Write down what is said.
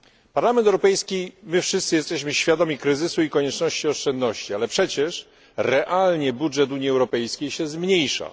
Parlament Europejski, my wszyscy jesteśmy świadomi kryzysu i konieczności oszczędzania, ale przecież realnie budżet Unii Europejskiej się zmniejsza.